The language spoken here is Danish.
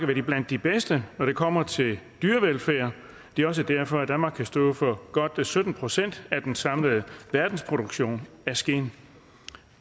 vi blandt de bedste når det kommer til dyrevelfærd det er også derfor danmark kan stå for godt sytten procent af den samlede verdensproduktion af skind